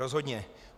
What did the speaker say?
Rozhodně.